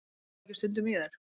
Gluggarðu ekki stundum í þær?